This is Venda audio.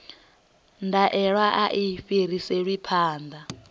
ndaela a i fhiriselwi phanḓa